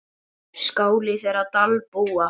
Skáli þeirra Dalbúa.